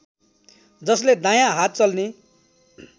जसले दायाँ हात चल्ने